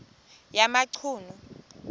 yamachunu